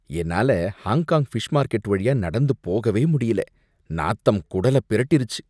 என்னால Hong Kong fish market வழியா நடந்து போகவே முடியல, நாத்தம் குடல பிரட்டிருச்சு.